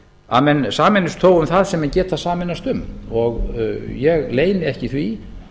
að menn sameinist þó um það sem menn geta sameinast um ég leyni ekki því